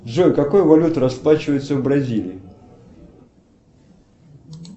джой какой валютой расплачиваются в бразилии